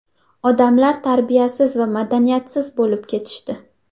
Odamlar tarbiyasiz va madaniyatsiz bo‘lib ketishdi”.